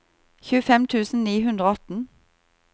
tjuefem tusen ni hundre og atten